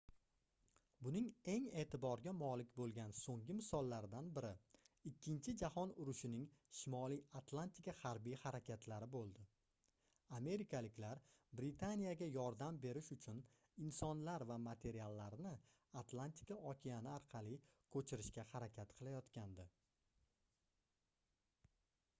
buning eng eʼtiborga molik boʻlgan soʻnggi misollaridan biri ikkinchi jahon urushining shimoliy atlantika harbiy harakatlari boʻldi amerikaliklar britaniyaga yordam berish uchun insonlar va materiallarni atlantika okeani orqali koʻchirishga harakat qilayotgandi